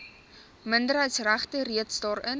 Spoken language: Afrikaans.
minderheidsregte reeds daarin